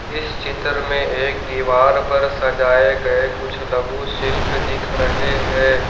इस चित्र में एक दीवार पर सजाए गए कुछ लघु शिल्प दिख रहे हैं।